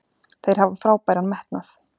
Þeir hafa frábæran metnað.